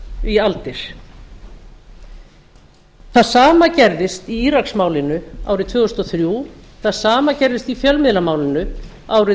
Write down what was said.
í aldir það sama gerðist í íraksmálinu árið tvö þúsund og þrjú það sama gerðist í fjölmiðlamálinu árið